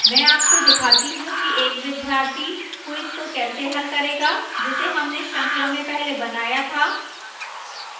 मैं आपको दिखाती how कि एक विद्यार्थी quiz को कैसे हल करेगा जिसे हमने श्रृंखला में पहले बनाया था